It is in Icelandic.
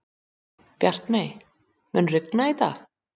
Bjartmey, mun rigna í dag?